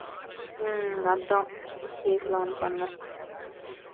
உம் அதான் கேக்கலான்னு பன்னேன்